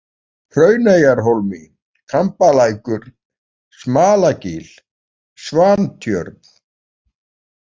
Hrauneyjahólmi, Kambalækur, Smalagil, Svantjörn